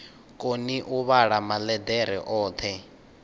koni u vhala maḽeḓere oṱhe